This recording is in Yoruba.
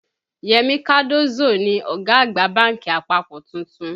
Yemi Cardozo ni ọ̀gá àgbà bánkì àpapọ̀ tuntun